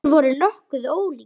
Þeir voru nokkuð ólíkir.